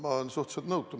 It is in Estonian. Ma olen suhteliselt nõutu.